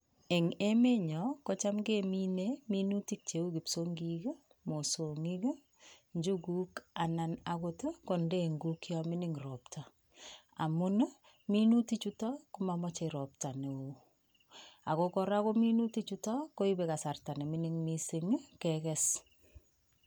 Eng emenyo kocham kemine minutik cheu kipsiongik, mosongik, njuguk anan agot ko ndenguk yon mining ropta. Amun minutik chuto ko mamache ropta neo ago kora ko minuti chuto koipe kasarta ne mining mising ii keges.